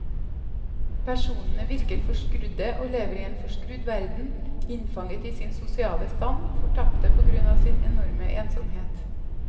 Personene virker forskrudde og lever i en forskrudd verden, innfanget i sin sosiale stand, fortapte på grunn av sin enorme ensomhet.